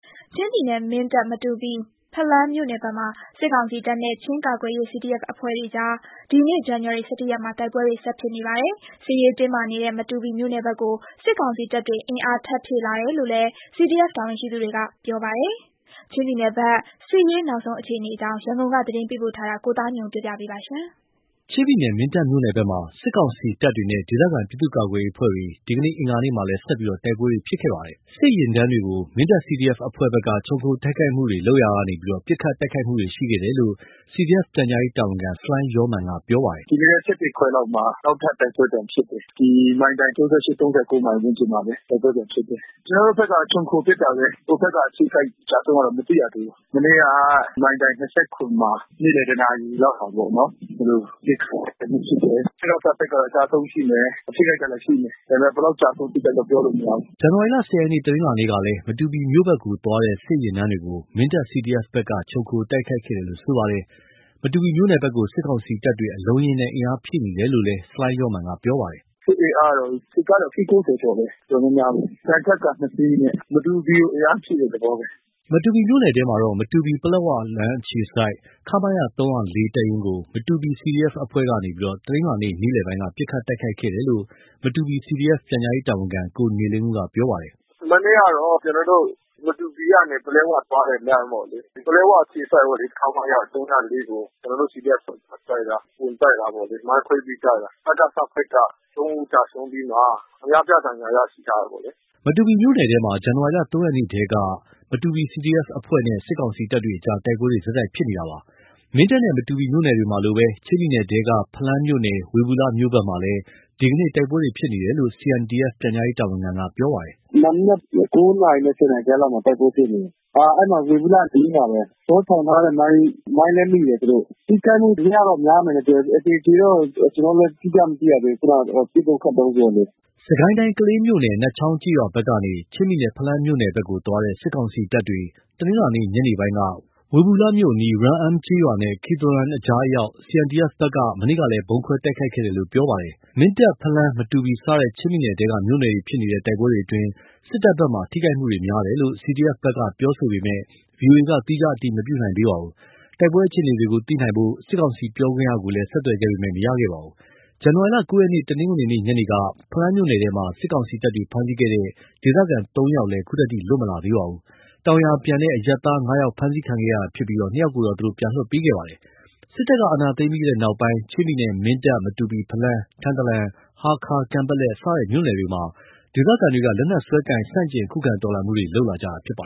ချင်းပြည်နယ် မင်းတပ်၊ မတူပီ၊ ဖလမ်းမြို့နယ်ဘက်မှာ စစ်ကောင်စီတပ်နဲ့ ချင်းကာကွယ်ရေး CDF အဖွဲ့တွေအကြား ဒီနေ့ ဇန်နဝါရီလ ၁၁ ရက်မှာ တိုက်ပွဲတွေ ဆက်ဖြစ်နေပါတယ်။ စစ်ရေးတင်းမာနေတဲ့မတူပီမြို့နယ်ဘက်ကို စစ်ကောင်စီတပ်တွေအင်အား ထပ်ဖြည့်လာတယ်လို့လည်း CDF တာဝန်ရှိသူတွေဘက်က ပြောပါတယ်။ ချင်းပြည်နယ်ဘက် စစ်ရေးနောက်ဆုံးအခြေအနေအကြောင်း ရန်ကုန်က သတင်းပေးပို့ထားတာ ကိုသားညွန့်ဦးက တင်ပြပေးထားပါတယ်။ ချင်းပြည်နယ် မင်းတပ်မြို့နယ်ဘက်မှာ စစ်ကောင်စီတပ်တွေနဲ့ ဒေသခံပြည်သူ့ ကာကွယ်ရေးအဖွဲ့တွေ ဒီနေ့လည်း အင်္ဂါနေ့မှာလည်း ဆက်ပြီး တိုက်ပွဲတွေဖြစ်ခဲ့ပါတယ်။ စစ်ယာဉ်တန်းတွေအပေါ် မင်းတပ် CDF အဖွဲ့ဘက်က ခြုံခိုတိုက်ခိုက်မှုတွေလုပ်ရာက ပစ်ခတ်တိုက်ခိုက်မှုတွေဖြစ်ခဲ့တယ်လို့ CDF ပြန်ကြားရေးတာဝန်ခံ ဆလိုင်းယောမာန်က ပြောပါတယ်။ “ဒီနေ့လည်း ခွဲလောက်မှာ နောက်ထပ်တိုက်ပွဲပြန်ဖြစ်တယ်။ ဒီမိုင်တိုင် ၃၉/ ၃၉မှာ ဝန်းကျင်မှာပဲ။ တိုက်ပွဲပြန်ဖြစ်တယ်။ ကျနော်တို့ဘက်က ခြုံခိုပစ်တာပဲ။ ဟိုဘက်က အထိခိုက်အကျဆုံးတော့မသိရသေးပါဘူး။ မနေ့က မိုင်တိုင် မှာ နေ့လယ် တနာရီလောက်မှာ ပစ်ခတ်မှုတခုဖြစ်တယ်။ အစိုးရဘက်ကတော့အကျဆုံး ရှိမယ်။ ထိခိုက်ဒဏ်ရာရှိမယ်။ ဒါပေမယ့် ဘယ်လောက်ကျဆုံး ထိခိုက်ဒဏ်ရာရတာပြောလို့မရဘူး။” ဇန်နဝါရီ ၁၀ ရက် တနင်္လာနေ့ကလည်း မတူပီမြို့ဘက်ကိုသွားတဲ့ စစ်ယာဉ်တန်းတွေကိုမင်းတပ် CDF ဘက်က ခြုံခိုတိုက်ခိုက်ခဲ့တယ်လို့ပြောပါတယ်။ မတူပီမြို့ နယ်ဘက်ကို စစ်ကောင်စီတပ်တွေ အလုံးအရင်းနဲ့ အင်အားဖြည့်နေတယ်လို့လည်း ဆလိုင်းယောမာန်ကပြောပါတယ်။ “စစ်အင်အားကတော့ စစ်ကားတွေအစီး ကျော်တယ်။ တော်တော်များတယ်။ သံချပ်ကာ ၂ စီးပေါ့။ မတူပီကို အင်အားဖြည့်တဲ့ သဘောပဲ။” မတူပီမြို့နယ်ထဲမှာတော့ မတူပီ-ပလက်ဝလမ်းအခြေစိုက် ခမရ တပ်ရင်းကို မတူပီ CDF အဖွဲ့ကနေ တနင်္လာနေ့ နေ့လယ်ပိုင်းက ပစ်ခတ်တိုက်ခိုက်ခဲ့တယ်လို့ မတူပီ CDF ပြန်ကြားရေးတာဝန်ခံ ကိုနေလင်းဦးက ပြောပါတယ်။ “မနေ့ကတော့ မတူပီကနေ ပလက်ဝကိုသွားတဲ့လမ်းပေါ့။ ပလက်ဝအခြေစိုက် ပေါ့လေ။ ခမရ ကို ကျနော်တို့ CDF အဖွဲ့တွေက ဝင်တိုက်တာပေါ့လေ။ မိုင်းခွဲပြီးတိုက်တာ။ စကစဘက်က ၃ ဦးကျဆုံးပြီးမှ အများပြား ဒဏ်ရာရတယ် ကြားတာပေါ့လေ။” မတူပီမြို့နယ်ထဲမှာ ဇန်နဝါလ ၃ ရက်နေ့ကတည်းက မတူပီ CDF အဖွဲ့နဲ့ စစ်ကောင်စီတပ်တွေကြား တိုက်ပွဲတွေ ဆက်တိုက်ဖြစ်နေပါတယ်။ မင်းတပ်နဲ့ မတူပီမြို့ နယ်တွေမှာလိုပဲ ချင်းပြည်နယ်ထဲကပဲ ဖလမ်းမြို့နယ်၊ ဝေဘူလမြို့ဘက်မှာလည်း ဒီနေ့ တိုက်ပွဲဖြစ်ပွားနေတယ်လို့ CNDF ပြန်ကြားရေးတာဝန်ခံကပြောပါတယ်။ “မနက် နာရီနဲ့ နာရီကြားလောက်မှာ တိုက်ပွဲဖြစ်တယ်။ အဲဒါ ဝေဘူလအနီးမှာပဲ။ကျနော်တို့ထောင်ထားတဲ့မိုင်း သူတို့ နင်းမိတယ်။ ထိခိုက်မှုများတော့များမယ်။ အသေအကြေတော့ ကျနော်တို့လည်း မသိရသေးဘူး။ ပစ်တုန်းခတ်တုန်း ဆိုတော့လေ။” စစ်ကိုင်းတိုင်း ကလေးမြို့နယ် နတ်ချောင်းကျေးရွာဘက်ကနေ ချင်းပြည်နယ် ဖလမ်းမြို့နယ်ဘက်သွားတဲ့ စစ်ကောင်စီတပ်တွေ တနင်္လာနေ့ညနေပိုင်းကဝေဘူလမြို့အနီး Ral Om ရာလ်အွမ်ကျေးရွာနဲ့ ခွီသမ်ရွာအကြားအရောက် CNDF ဘက်ကနေ မနေ့ကလည်း ဗုံးခွဲတိုက်ခိုက်ခဲ့တယ်လို့ပြောပါတယ်။ မင်းတပ်၊ ဖလမ်း၊ မတူပီစတဲ့ ချင်းပြည်နယ်ထဲက မြို့နယ်တွေမှာ ဖြစ်နေတဲ့ တိုက်ပွဲအတွင်း စစ်တပ်ဘက်က ထိခိုက်မှုများတယ်လို့ CDF ဘက်ကပြောဆိုပေမဲ့ ဗွီအိုအေက သီးခြားအတည်မပြုနိုင်သေးပါဘူး။ တိုက်ပွဲအခြေအနေတွေကိုသိရှိဖို့ စစ်ကောင်စီပြောခွင့်ရကို ဆက်သွယ်ခဲ့ပေမဲ့လည်း မရခဲ့ပါဘူး။ ဇန်နဝါရီ ၉ ရက် တနင်္ဂနွေနေ့ညနေက ဖလမ်းမြို့နယ်ထဲမှာ စစ်ကောင်စီတပ်တွေ ဖမ်းဆီးခဲ့တဲ့ ဒေသခံ ၃ ယောက် ခုထိလွတ်မလာသေးပါဘူး။ တောင်ယာပြန်အရပ် သား ၅ ယောက် ဖမ်းဆီးခံခဲ့ရတာဖြစ်ပြီး ၂ ယောက်ကိုတော့ ပြန်လွှတ်ပေးခဲ့ပါတယ်။ စစ်တပ်က အာဏာသိမ်းခဲ့ပြီးနောက် ချင်းပြည်နယ် မင်းတပ်၊ မတူပီ၊ ဖလမ်း၊ ထန်တလန်၊ ဟားခါး ၊ကန်ပက်လက် စတဲ့မြို့နယ်တွေမှာ ဒေသခံတွေက လက်နက်စွဲကိုင် ဆန့်ကျင် ခုခံ တော်လှန်မှုတွေ လုပ်လာကြတာဖြစ်ပါ